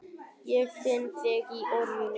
Ég finn þig í orðinu.